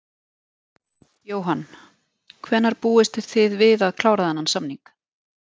Jóhann: Hvenær búist þið við að klára þennan samning?